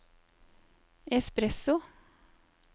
espresso